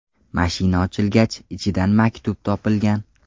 Mashina ochilgach, ichidan maktub topilgan.